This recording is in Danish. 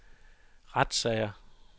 retssager